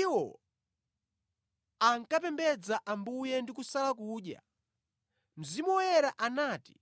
Iwo pamene ankapembedza Ambuye ndi kusala kudya, Mzimu Woyera anati,